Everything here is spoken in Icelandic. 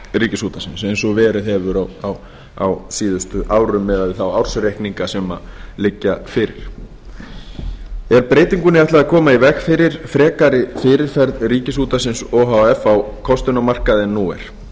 ríkisútvarpsins eins og verið hefur á síðustu árum miðað við þá ársreikninga sem liggja fyrir er breytingunni ætlað að koma í veg fyrir frekari fyrirferð ríkisútvarpsins o h f á kostunarmarkaði en nú er